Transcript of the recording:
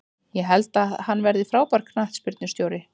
Ég held að hann verði frábær knattspyrnustjóri.